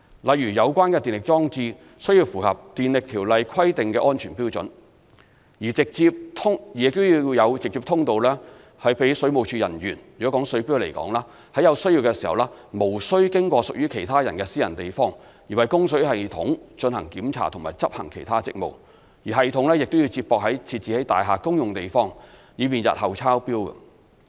例如，有關的電力裝置須符合《電力條例》規定的安全標準，亦要有直接通道讓水務署人員——若以水錶為例，在有需要時無須經過屬其他人的私人地方，而為供水系統進行檢查及執行其他職務，以及系統需接駁至設置在大廈公用地方，以方便日後抄錶等。